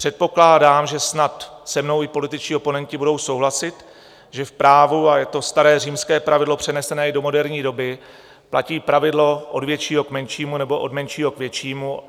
Předpokládám, že snad se mnou i političtí oponenti budou souhlasit, že v právu - a je to staré římské pravidlo přenesené i do moderní doby - platí pravidlo od většího k menšímu, nebo od menšího k většímu.